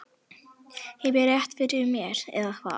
Hef ég rétt fyrir mér, eða hvað?